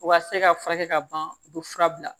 U ka se ka furakɛ ka ban u bɛ fura bila